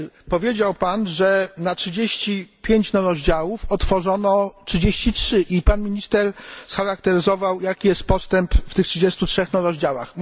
Powiedział pan, że na 35 rozdziałów otworzono 33, i pan minister scharakteryzował, jaki jest postęp w tych 33 rozdziałach.